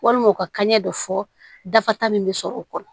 Walima u ka kaɲɛ dɔ fɔ dafa min bɛ sɔrɔ o kɔnɔ